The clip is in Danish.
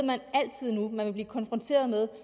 man altid vil blive konfronteret med